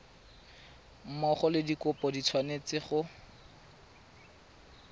mmogo le dikopo di tshwanetse